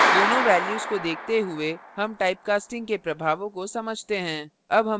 दोनों values को देखते हुए हम typecasting के प्रभावों को समझते हैं